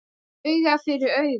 Auga fyrir auga